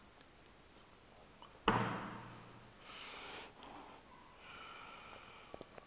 athi dzu ekhaya